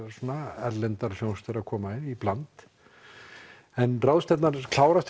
erlendar hljómsveitir að koma í bland en ráðstefnan klárast